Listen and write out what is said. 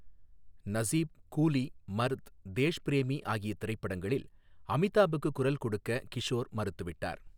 நஸீப், கூலி, மர்த், தேஷ் பிரேமி ஆகிய திரைப்படங்களில் அமிதாப்புக்குக் குரல் கொடுக்க கிஷோர் மறுத்துவிட்டார்.